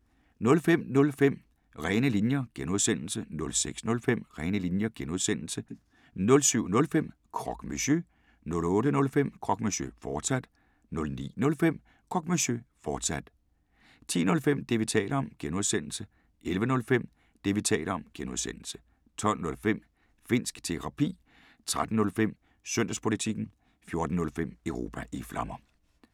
05:05: Rene linjer (G) 06:05: Rene linjer (G) 07:05: Croque Monsieur 08:05: Croque Monsieur, fortsat 09:05: Croque Monsieur, fortsat 10:05: Det, vi taler om (G) 11:05: Det, vi taler om (G) 12:05: Finnsk Terapi 13:05: Søndagspolitikken 14:05: Europa i Flammer